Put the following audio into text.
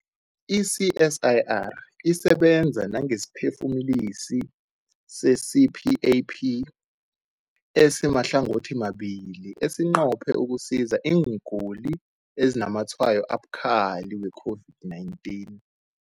I-CSIR isebenza nangesiphefumulisi se-CPAP esimahlangothimabili esinqophe ukusiza iingulani ezinazamatshwayo abukhali we-COVID-19.